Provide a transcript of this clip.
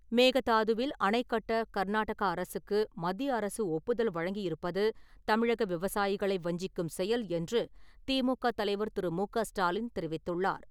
மேகதாதுவில் அணை கட்ட கர்நாடக அரசுக்கு மத்திய அரசு ஒப்புதல் வழங்கியிருப்பது தமிழக விவசாயிகளை வஞ்சிக்கும் செயல் என்று திமுக தலைவர் திரு. மு.க.ஸ்டாலின் தெரிவித்துள்ளார்.